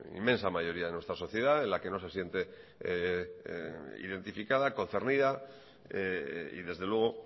inmensa mayoría de nuestra sociedad en la que no se siente identificada concernida y desde luego